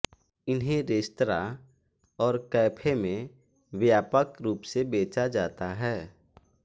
इन्हें रेस्तरां और कैफे में व्यापक रूप से बेचा जाता है